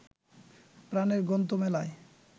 প্রাণের গ্রন্থ মেলায়